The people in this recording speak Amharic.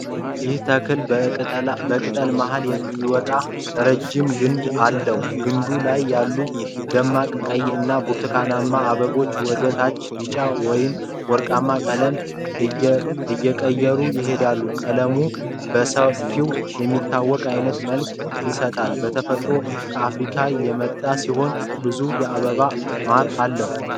ይህ ተክል በቅጠል መሀል የሚወጣ ረጅም ግንድ አለው። ግንዱ ላይ ያሉት ደማቅ ቀይ እና ብርቱካናማ አበቦች ወደ ታች ቢጫ ወይም ወርቃማ ቀለም እየቀየሩ ይሄዳሉ። ቀለሙ በሰፊው የሚታወቅ አይነት መልክ ይሰጣል። በተፈጥሮው ከአፍሪካ የመጣ ሲሆን ብዙ የአበባ ማር አለው።